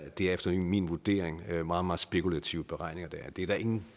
efter min vurdering meget meget spekulative beregninger der er det er der ingen